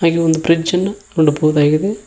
ಈ ಒಂದು ಬ್ರಿಡ್ಜ್ ಅನ್ನ ನೋಡಬಹುದಾಗಿದೆ.